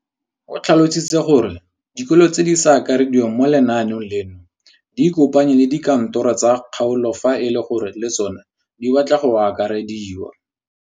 O tlhalositse gore dikolo tse di sa akarediwang mo lenaaneng leno di ikopanye le dikantoro tsa kgaolo fa e le gore le tsona di batla go akarediwa.